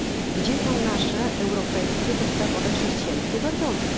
Gdzie są nasze europejskie, podstawowe, chrześcijańskie wartości?